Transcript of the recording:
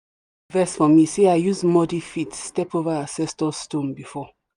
don vex for me say i use muddy feet step over ancestor stone before.